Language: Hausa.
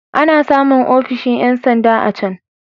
Ana samun ofishin ƴan sanda a can.